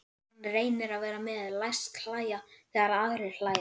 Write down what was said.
Hann reynir að vera með, læst hlæja þegar aðrir hlæja.